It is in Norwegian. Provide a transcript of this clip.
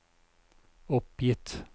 oppgitt